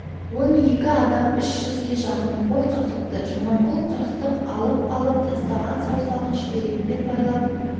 он екі адам үш жүзге жақын қой қырқыпты жаманқұл қырықтық алып алып тастаған саусағын шүберекпен байлап